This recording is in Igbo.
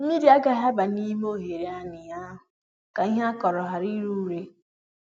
mmiri agaghị aba n'ime oghere ani ahụ ka ihe akụrụ ghara ire ure